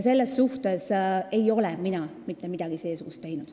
Selles suhtes võin öelda, et mina ei ole mitte midagi seesugust teinud.